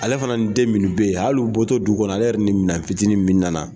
Ale fana den munnu be yen , hali u bɔ tɔ du kɔnɔ ale yɛrɛ ni minɛn fitinin min nana